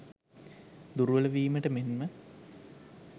දුර්වලවීමට මෙන්ම